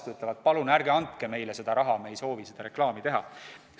Nad ütlevad, et palun ärge andke meile seda raha, me ei soovi seda reklaami teha.